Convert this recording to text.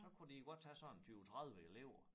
Så kunne de godt tage sådan 20 30 elever